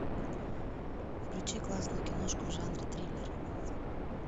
включи классную киношку в жанре триллер